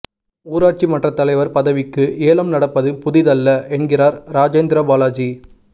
ஊராட்சி மன்ற தலைவர் பதவிக்கு ஏலம் நடப்பது புதிதல்ல என்கிறார் ராஜேந்திரபாலாஜி